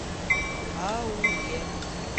а у е